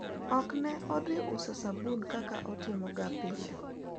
ok ne odhi uso sabun kaka otimo ga pile